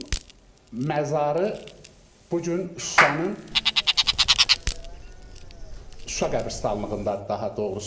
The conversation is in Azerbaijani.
Onun məzarı bu gün Şuşanın Şuşa qəbirstanlığındadır daha doğrusu.